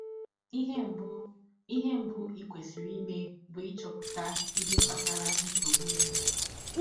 Ihe mbụ i Ihe mbụ i kwesịrị ime bụ ịchọpụta ihe kpatara nsọgbụ ụnụ.